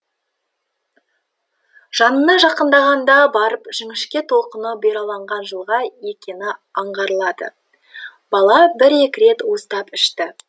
жанына жақындағанда барып жіңішке толқыны бұйраланған жылға екені аңғарылады бала бір екі рет уыстап ішті